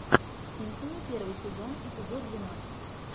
симпсоны первый сезон эпизод двенадцать